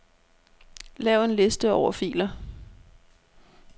Lav en liste over filer.